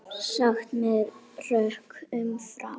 Sagt með rökum frá.